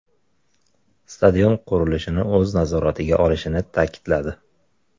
Stadion qurilishini o‘z nazoratiga olishini ta’kidladi.